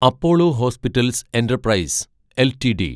Apollo hospitals enterprise LTD